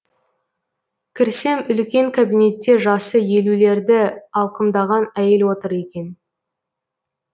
кірсем үлкен кабинетте жасы елулерді алқымдаған әйел отыр екен